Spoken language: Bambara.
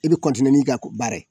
I bɛ n'i ka ko baara ye.